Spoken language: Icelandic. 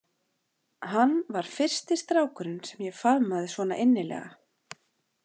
Hann var fyrsti strákurinn sem ég faðmaði svona innilega.